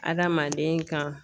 Adamaden kan.